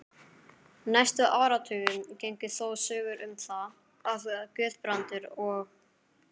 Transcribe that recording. Næstu áratugi gengu þó sögur um það, að Guðbrandur og